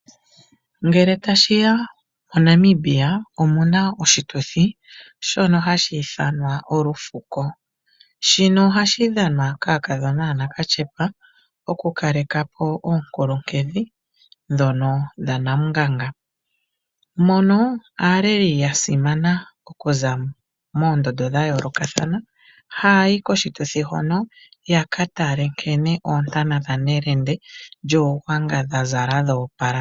MoNamibia omu na oshituthi shono ha shi ithanwa Olufuko. Shino oha shi dhanwa kaakadhona ya nakatyepa, oku kaleka po oonkulunkedhi, dhono dha namunganga, mono aaleli ya simana okuza moondondo dha yoolokathana ha ya yi koshituthi hono, yaka tale nkene oontana dha Nelende lyUugwanga dha zala dhoopala.